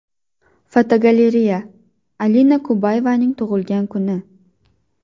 Fotogalereya: Alina Kabayevaning tug‘ilgan kuni.